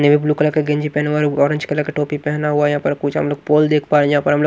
navy blue colour का गेंजी पहन हुआ और ऑरेंज कलर का टोपी पहना हुआ यहां पर कुछ हम लोग पोल देख पा रहे हैं जहां पर हम लोग --